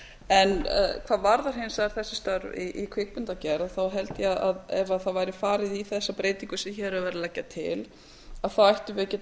en hvað varðar hins vegar þessi störf í kvikmyndagerð þá held ég að ef væri farið í þessa breytingu sem hér er verið að leggja til þá ættum við að geta